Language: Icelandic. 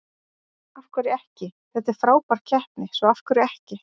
Af hverju ekki, þetta er frábær keppni svo af hverju ekki?